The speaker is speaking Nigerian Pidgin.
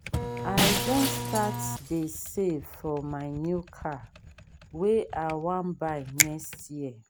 i don start dey save for my new car wey i wan buy next year.